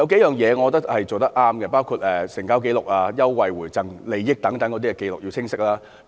有數點我認為是做得對的，包括成交價、優惠回贈和優惠等要有清晰的紀錄。